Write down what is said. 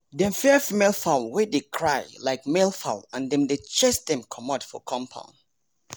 dem fear female fowl wey dey cry like male fowl and dem dey chase dem comot for compound